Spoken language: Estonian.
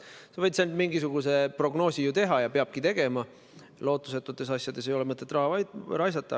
Sa võid ainult mingisuguse prognoosi teha ja seda peabki tegema, lootusetutes asjades ei ole mõtet raha raisata.